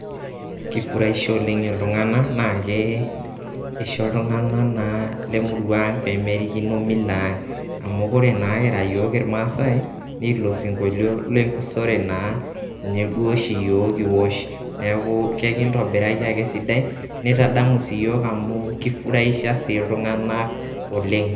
keifuraisha oleng' iltung'anak, naa keisho iltung'anak naa lemurua aang' pee merikino mila ang. amuu kore naa kira iyiook irmaasae, naa ilo sinkolio lenkusore naa ninye duo ashi iyiook kiwosh neaku kekintobiraki ake esidai neitadamu sii iyiook amu keifuraisha sii iltung'anak oleng'.